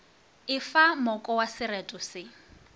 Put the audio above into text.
efa moko wa sereto se